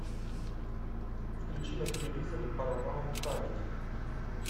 включи на телевизоре парамаунт камеди